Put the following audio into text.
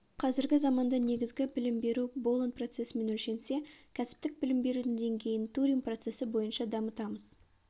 қазіргі заманда негізгі білім беру болон процесімен өлшенсе кәсіптік білім берудің деңгейін турин процесі бойынша дамытамыз